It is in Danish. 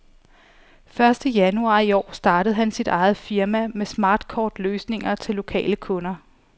Første januar i år startede han sit eget firma med smartkort løsninger til lokale kunder.